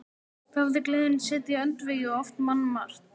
Þá hafði gleðin setið í öndvegi og oft mannmargt.